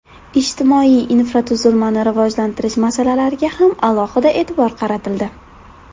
Ijtimoiy infratuzilmani rivojlantirish masalalariga ham alohida e’tibor qaratildi.